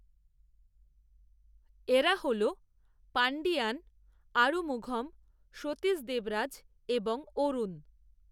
এরা হল পাণ্ডিয়ান, আরুমুঘম, সতীশ দেবরাজ, এবং, অরুণ